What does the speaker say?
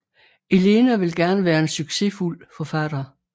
Elena vil gerne være en sucessfuld forfatter